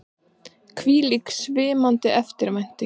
Hvílík svimandi eftirvænting!